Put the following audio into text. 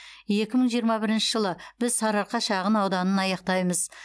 екі мың жиырма бірінші жылы біз сарыарқа шағын ауданын аяқтаймыз